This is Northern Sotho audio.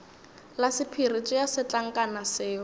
la sephiri tšea setlankana seo